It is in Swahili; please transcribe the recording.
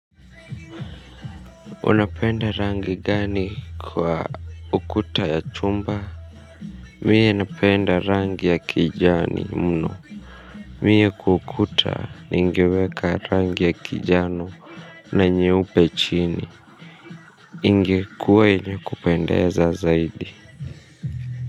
Unapenda rangi gani kwa ukuta ya chumba mie napenda rangi ya kijani mno mie kwa ukuta ningeweka rangi ya kijano na nyeupe chini ingekuwa yenye kupendeza zaidi.